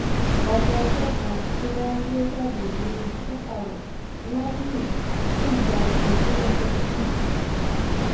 ọmọ ọjọ kan tí wọn gbé jáde nínú sọkàwéè ladìyàn ṣì ń gbàtọjú lọsibítù